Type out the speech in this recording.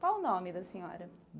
Qual o nome da senhora?